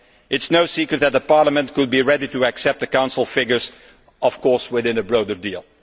It is no secret that Parliament could be ready to accept the Council figures, of course, within a broader deal.